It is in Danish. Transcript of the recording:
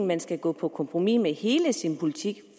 man skal gå på kompromis med hele sin politik